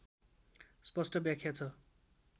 स्पस्ट व्याख्या छ